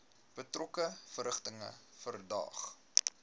betrokke verrigtinge verdaag